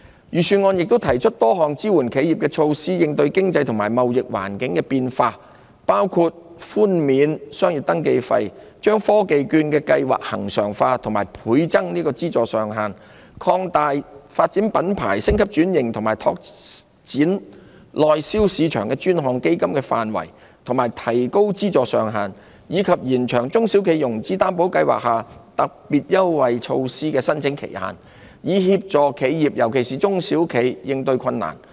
預算案亦提出多項支援企業的措施，應對經濟及貿易環境的變化，包括寬免商業登記費、把科技券計劃恆常化並倍增資助上限、擴大發展品牌、升級轉型及拓展內銷市場的專項基金範圍及提高資助上限，以及延長中小企融資擔保計劃下特別優惠措施的申請期限，以協助企業應對困難。